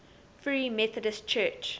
free methodist church